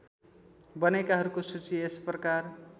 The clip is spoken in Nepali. बनेकाहरूको सूची यसप्रकार